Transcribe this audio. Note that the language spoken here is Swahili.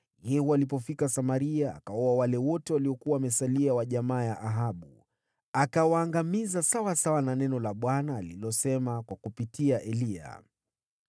Yehu alipofika Samaria, akawaua wale wote waliokuwa wamesalia wa jamaa ya Ahabu, akawaangamiza, sawasawa na neno la Bwana alilosema kupitia Eliya.